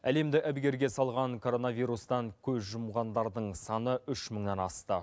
әлемді әбігерге салған коронавирустан көз жұмғандардың саны үш мыңнан асты